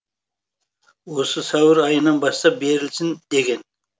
осы сәуір айынан бастап берілсін деген